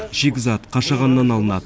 шикізат қашағаннан алынады